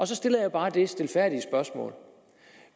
så stiller jeg bare det stilfærdige spørgsmål